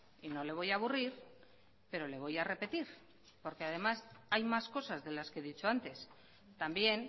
y no le voy a aburrir pero le voy a repetir porque además hay más cosas de las que he dicho antes también